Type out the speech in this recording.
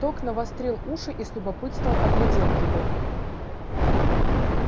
тог навострил уши и с любопытством оглядел его